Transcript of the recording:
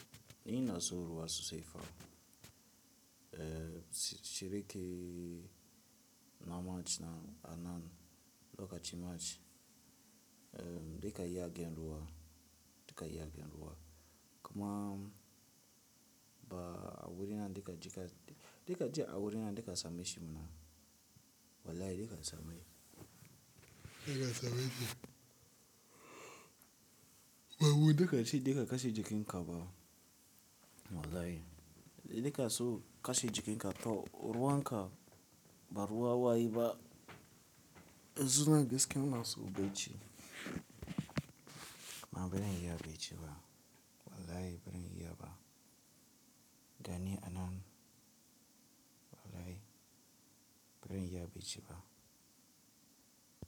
Ni na so ruwa so sayfa, eh, shirike na mach na anan, lokacin mach, eh, dika ya gyanruwa, dika ya gyanruwa. Kuma ba a wuri na dika ji ka-- dika ji a wuri na dika same shi mana. Wallahi dika same. Dika same shi. Ba wuri dika shi dika kashe jikin ka ba. Wallahi. Dika so kashe jikin ka, to ruwan ka ba ruwa waye ba. E zuna gaskiya naso bai ci. Ma ban iya bai ci ba. Wallahi baran iya ba. Gani anan. Wallahi ban iya bai ci ba.